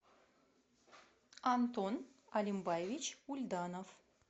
антон алимбаевич ульданов